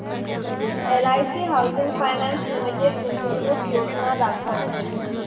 LIC housing finance limited गुंतवणूक योजना दाखव